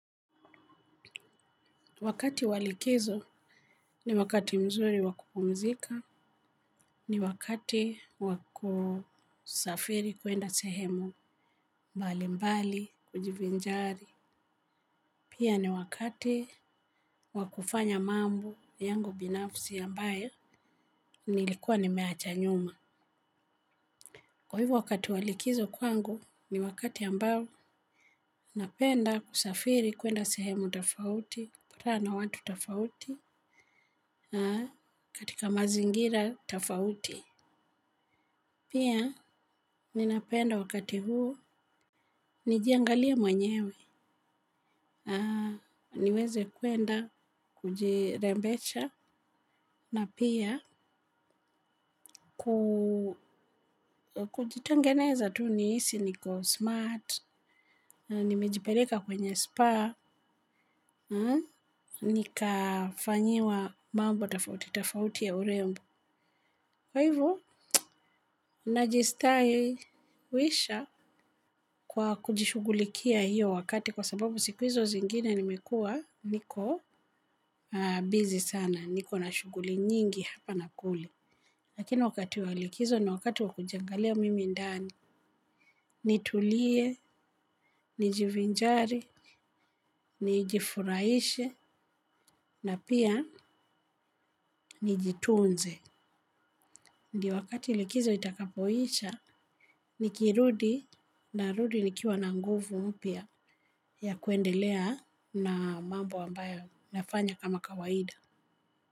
Wakati wa likizo ni wakati mzuri wa kupumzika, ni wakati wa kusafiri kwenda sehemu mbalimbali kujivinjari. Pia ni wakati wa kufanya mambo yangu binafsi ambayo nilikua nimeacha nyuma. Kwa hivo wakati wa likizo kwangu ni wakati ambao napenda kusafiri kwenda sehemu tofauti, kukutana na watu tofauti na katika mazingira tofauti. Pia ninapenda wakati huu nijiangalie mwenyewe niweze kwenda kujirembesha na pia kujitengeneza tu nihisi niko smart na nimejipeleka kwenye spa nikafanyiwa mambo tofauti tofauti ya urembo. Kwa hivo, najistawisha kwa kujishughulikia hiyo wakati kwa sababu siku hizo zingine nimekua niko bizi sana, niko na shughuli nyingi hapa na kule. Lakini wakati wa likizo ni wakati wa kujiangalia mimi ndani, nitulie, nijivinjari, nijifuraishe na pia nijitunze. Ndiyo wakati likizo itakapoisha, nikirudi narudi nikiwa na nguvu mpya ya kwendelea na mambo ambayo nafanya kama kawaida.